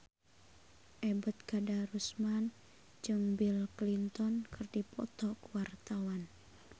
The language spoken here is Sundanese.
Ebet Kadarusman jeung Bill Clinton keur dipoto ku wartawan